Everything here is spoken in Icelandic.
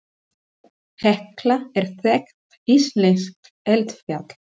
Hekla er þekkt íslenskt eldfjall.